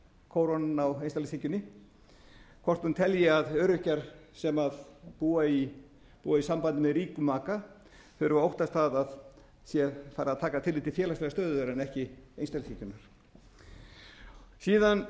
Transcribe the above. kórónan á einstaklingshyggjunni hvort hún telji að öryrkjar sem búa í sambandi með ríkum maka þurfi að óttast að það sé farið að taka tillit til félagslegrar stöðu þeirra en ekki einstaklingshyggjunnar síðan vil